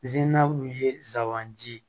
ye sabanan ji